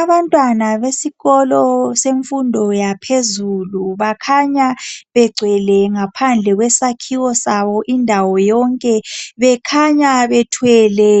Abantwana besikolo semfundo yaphezulu bakhanya begcwele ngaphandle kwesakhiwo sabo indawo yonke bekhanya bethwele